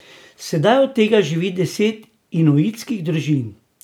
Sedaj od tega živi deset inuitskih družin.